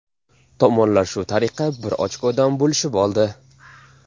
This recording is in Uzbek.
Tomonlar shu tariqa bir ochkodan bo‘lishib oldi.